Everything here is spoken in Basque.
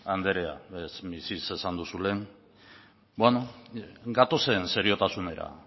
andrea ez misses esan duzu lehen bueno gatozen seriotasunera